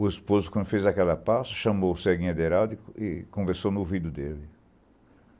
O esposo, quando fez aquela passo, chamou o Céguinha de Heraldo e conversou no ouvido dele.